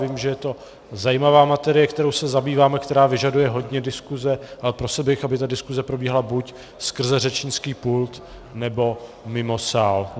Vím, že je to zajímavá matérie, kterou se zabýváme, která vyžaduje hodně diskuze, ale prosil bych, aby ta diskuze probíhala buď skrze řečnický pult, nebo mimo sál.